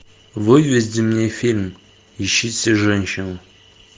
выведи мне фильм ищите женщину